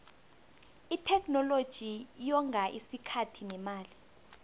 itheknoloji yonga isikhathi nemali